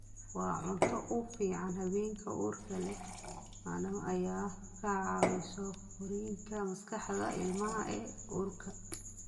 Waa cunto u fiican haweenka uurka leh maadaama ay ka caawiso korriinka maskaxda ilmaha ee uurka.